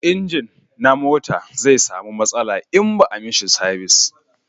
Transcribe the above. inji na mota zai samu matsala in ba a mishi sabis